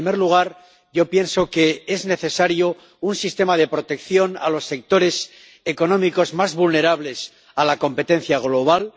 En primer lugar, yo pienso que es necesario un sistema de protección de los sectores económicos más vulnerables a la competencia global